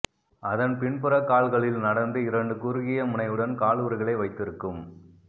அதன் பின்புற கால்களில் நடந்து இரண்டு குறுகிய முனையுடன் காலுறைகளை வைத்திருக்கும்